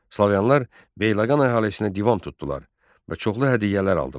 Slaviyalılar Beyləqan əhalisinə divan tutdular və çoxlu hədiyyələr aldılar.